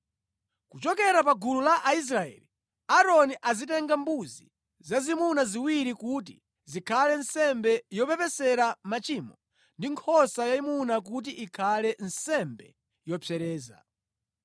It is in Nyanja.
Kuchokera pa gulu la Aisraeli, Aaroni azitenga mbuzi zazimuna ziwiri kuti zikhale nsembe yopepesera machimo ndi nkhosa yayimuna kuti ikhale nsembe yopsereza.